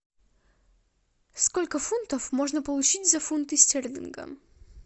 сколько фунтов можно получить за фунты стерлинга